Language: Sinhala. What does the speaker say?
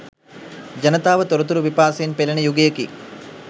ජනතාව තොරතුරු පිපාසයෙන් පෙළෙන යුගයකි.